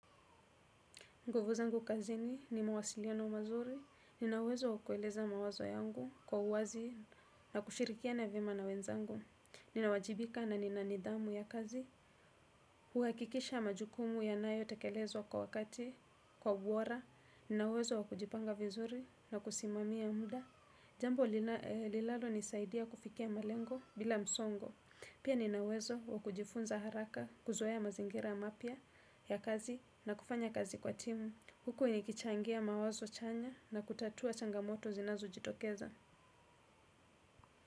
Nguvu zangu kazini ni mawasiliano mazuri, ninauwezo wakueleza mawazo yangu kwa uwazi na kushirikiana vyema na wenzangu. Ninawajibika na nina nidhamu ya kazi, huakikisha majukumu yanayo tekelezwa kwa wakati, kwa ubora, ninawezo wakujipanga vizuri na kusimamia muda. Jambo lilalo nisaidia kufikia malengo bila msongo, pia ninauwezo wakujifunza haraka kuzoea mazingira mapya ya kazi na kufanya kazi kwa timu. Huku nikichangia mawazo chanya na kutatua changamoto zinazojitokeza.